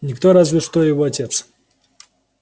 никто разве что его отец